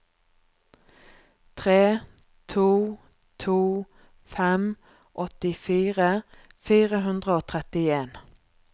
tre to to fem åttifire fire hundre og trettien